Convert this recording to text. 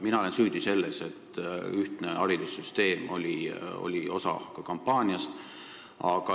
Mina olen süüdi selles, et ühtne haridussüsteem oli ka osa kampaaniast.